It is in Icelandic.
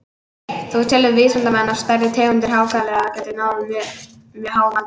Þó telja vísindamenn að stærri tegundir hákarla geti náð mjög háum aldri.